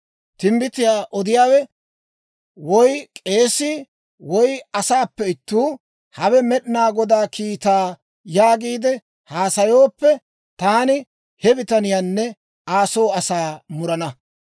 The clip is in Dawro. Timbbitiyaa odiyaawe, woy k'eesii, woy asaappe ittuu, ‹Hawe Med'inaa Godaa kiitaa› yaagiide haasayooppe, taani he bitaniyaanne Aa soo asaa murana.